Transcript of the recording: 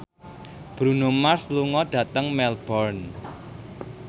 Bruno Mars lunga dhateng Melbourne